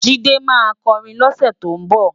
Jide má kòrin lòse tó nbò